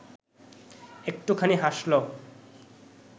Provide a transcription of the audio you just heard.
একটুখানি হাসল